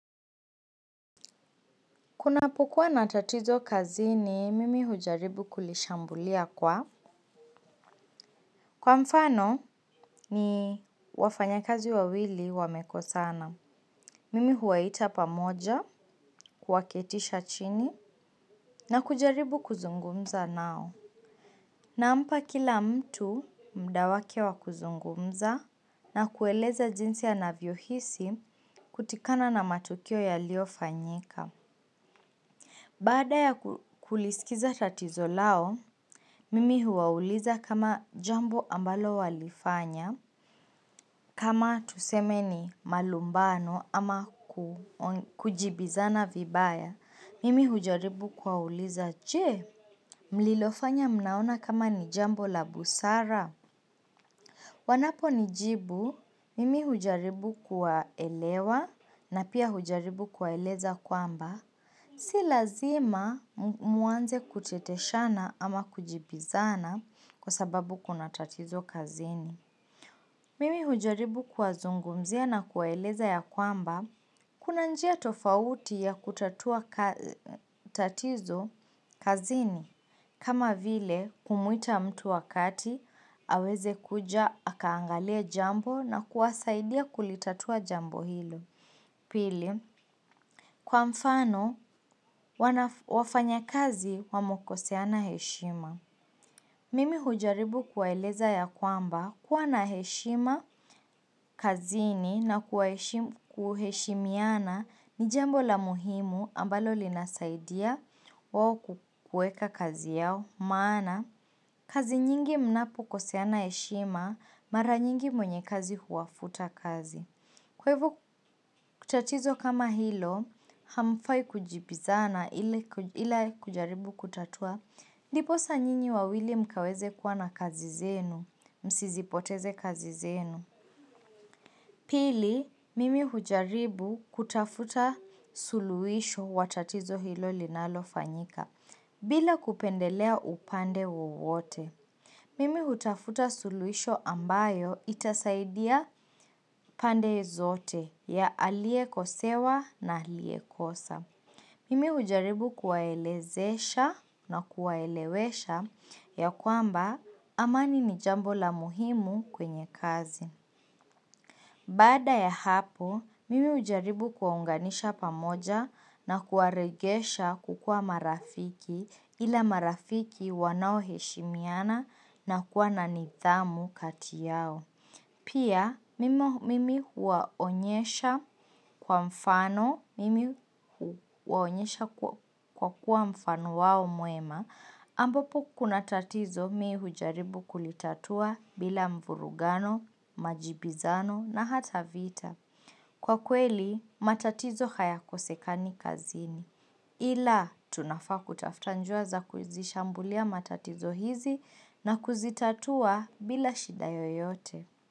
Kunapokua na tatizo kazini, mimi hujaribu kulishambulia kwa. Kwa mfano, ni wafanya kazi wawili wamekosana. Mimi huwaita pamoja, kuwaketisha chini, na kujaribu kuzungumza nao. Nampa kila mtu mdawake wa kuzungumza na kueleza jinsi ya anavyo hisi kutokana na matukio yaliofanyika. Baada ya kulisikiza tatizo lao, mimi huwauliza kama jambo ambalo walifanya. Kama tuseme ni malumbano ama kujibizana vibaya, mimi hujaribu kuwauliza, je, mlilofanya mnaona kama ni jambo la busara. Wanapo ni jibu, mimi hujaribu kuwa elewa na pia hujaribu kuwa eleza kwamba. Si lazima muanze kuteteshana ama kujibizana kwa sababu kuna tatizo kazini. Mimi hujaribu kuwa zungumzia na kuwaeleza ya kwamba, kuna njia tofauti ya kutatua tatizo kazini. Kama vile kumuita mtu wa kati, aweze kuja, akaangalia jambo na kuwasaidia kulitatua jambo hilo. Pili, kwa mfano wafanya kazi wamekoseana heshima. Mimi hujaribu kuwaeleza ya kwamba kuwa na heshima kazini na kuheshimiana ni jambo la muhimu ambalo linasaidia wao kueka kazi yao maana, kazi nyingi mnapu koseana heshima, mara nyingi mwenye kazi huwafuta kazi. Kwa hivyo kutatizo kama hilo, hamfai kujibizana ila kujaribu kutatua. Ndiposa nyinyi wawili mkaweze kuwa na kazi zenu, msizipoteze kazi zenu. Pili, mimi hujaribu kutafuta suluhisho watatizo hilo linalo fanyika, bila kupendelea upande wowote. Mimi hutafuta suluisho ambayo itasaidia pande zote ya alie kosewa na alie kosa. Mimi hujaribu kuwaelezesha na kuwaelewesha ya kwamba amani ni jambo la muhimu kwenye kazi. Baada ya hapo, mimi hujaribu kuwa unganisha pamoja na kuwaregesha kukua marafiki ila marafiki wanao heshimiana na kuwa nanidhamu kati yao. Pia, mimi huwaonyesha kwa mfano, mimi huwaonyesha kwa kuwa mfano wao mwema, ambapo kuna tatizo mi hujaribu kulitatua bila mvurugano, majibizano na hata vita. Kwa kweli, matatizo haya kosekani kazini. Ila, tunafa kutafta njia za kuzishambulia matatizo hizi na kuzitatua bila shida yoyote.